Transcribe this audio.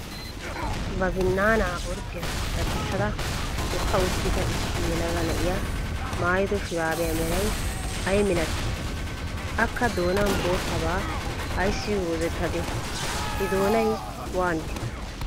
Ba binnaanaa orddiyaan daddissada hookka uttida issi yelaga na'iyaa maayido shuraabiyaa meray ayi milatii? Akka doonan boottabaa ayssi goozettadee? I doonay waanidee?